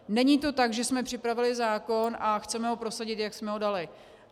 Není to tak, že jsme připravili zákon a chceme ho prosadit, jak jsme ho dali.